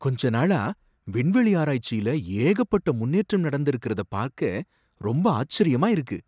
கொஞ்ச நாளா, விண்வெளி ஆராய்ச்சில ஏகப்பட்ட முன்னேற்றம் நடந்திருக்கறத பாக்க ரொம்ப ஆச்சரியமா இருக்கு.